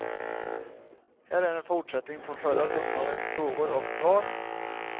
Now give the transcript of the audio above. Här är en fortsättning på förra söndagens frågor och svar.